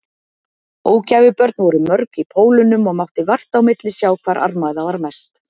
Ógæfubörn voru mörg í Pólunum og mátti vart á milli sjá hvar armæða var mest.